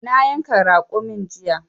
Na yanka raƙumin jiya.